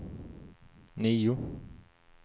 nio